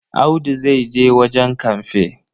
Audu zai je wajen kamfe.